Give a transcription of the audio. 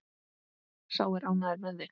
Sá er ánægður með þig!